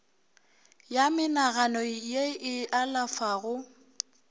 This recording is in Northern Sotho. ya menagano ye e alafago